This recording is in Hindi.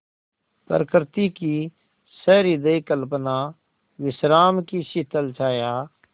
प्रकृति की सहृदय कल्पना विश्राम की शीतल छाया